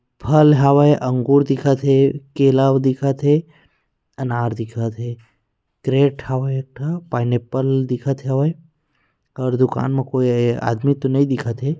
फल हावे अंगूर दिखत हे केला दिखत हे अनार दिखत हे क्रैट हावे एक का पाइनऐप्ल ले दिखत हावे और दुकान मे कोई आदमी तो नहीं दिखत हे ।